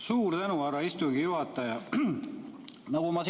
Suur tänu, härra istungi juhataja!